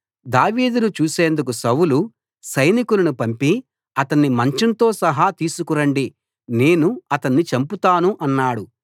దావీదును చూసేందుకు సౌలు సైనికులను పంపి అతణ్ణి మంచంతోసహా తీసుకురండి నేను అతణ్ణి చంపుతాను అన్నాడు